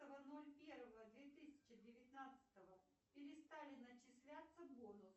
ноль первого две тысячи девятнадцатого перестали начисляться бонусы